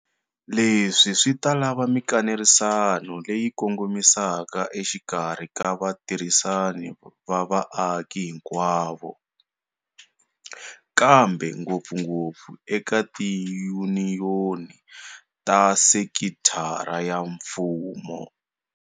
Leswi swi ta lava mikanerisano leyi kongomisaka exikarhi ka vatirhisani va vaaki hinkwavo, kambe ngopfungopfu eka tiyuniyoni ta sekitara ya mfumo.